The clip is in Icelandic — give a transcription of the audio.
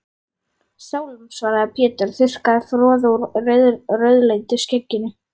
Sálm, svaraði Pétur og þurrkaði froðu úr rauðleitu skegginu.